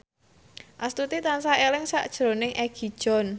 Astuti tansah eling sakjroning Egi John